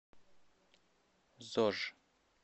зож